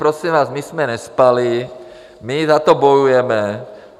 Prosím vás, my jsme nespali, my za to bojujeme.